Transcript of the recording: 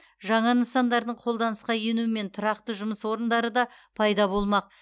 жаңа нысандардың қолданысқа енуімен тұрақты жұмыс орындары да пайда болмақ